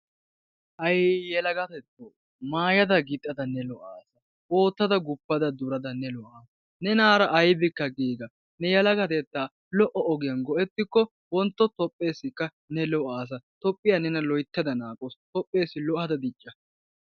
hay! yelagatetto maayada gixadda ne lo''assa, ootada guppada durada ne lo''assa. ne yelagatetta lo''o ogiyaan go''ettikko wontto Toophessikka ne go''assa. Toophiya nena loyttada naagawus. toophessi lo''ada dicca.